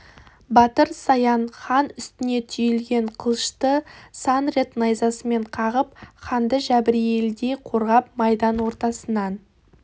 батыр саян хан үстіне түйілген қылышты сан рет найзасымен қағып ханды жәбірейілдей қорғап майдан ортасынан